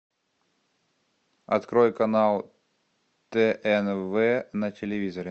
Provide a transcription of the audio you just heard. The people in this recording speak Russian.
открой канал тнв на телевизоре